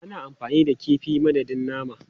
Ana amfani da kifi a madadin nama.